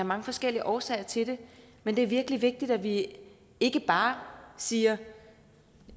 mange forskellige årsager til det men det er virkelig vigtigt at vi ikke bare siger at